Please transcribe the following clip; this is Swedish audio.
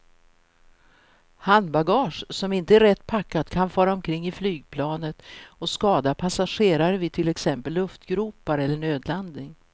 Handbagage som inte är rätt packat kan fara omkring i flygplanet och skada passagerare vid till exempel luftgropar eller nödlandning.